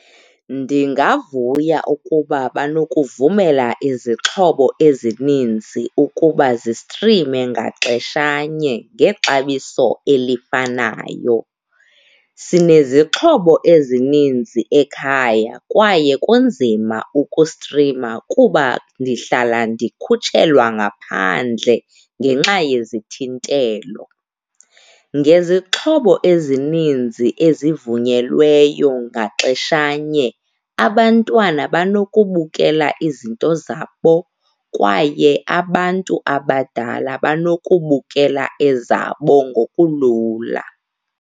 Ndingavuya ukuba banokuvumela izixhobo ezininzi ukuba zistrime ngaxeshanye ngexabiso elifanayo. Sinezixhobo ezininzi ekhaya kwaye kunzima ukustrima kuba ndihlala ndikhutshelwa ngaphandle ngenxa yezithintelo. Ngezixhobo ezininzi ezivunyelweyo ngaxeshanye abantwana banokubukela izinto zabo kwaye abantu abadala banokubukela ezabo ngokulula.